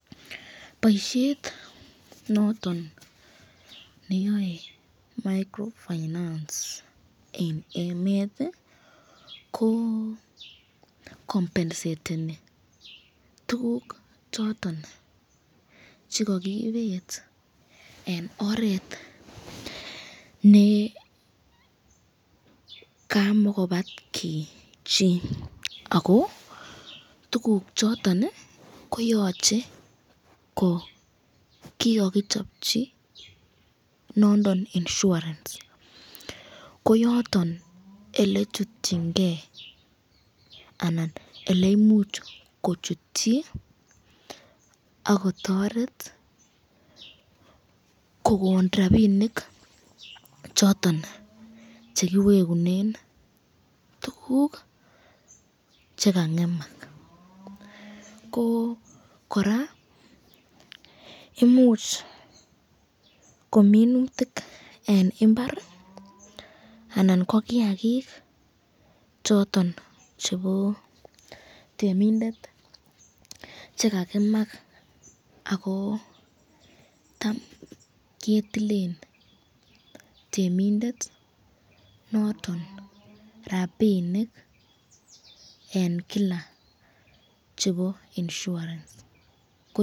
Boisiet noton neyoe microfinance en emet ko kompenseteni tuguk choton che kogibet en oret ne kamakobatki chi ago tuguchoto koyoche ko kigokichopchi nondon insurance ko yoton ele chutchin ge anan ele imuch kochutchi ak kotoret kogon rabinik choton che kiwegunen tuguk che kang'emak. Ko kora imuch kominutik en mbar anan ko kiyagik choton chebo temindet che ka ng'emak ago tam ketilen temindet noton rabinik en kila chebo insurance.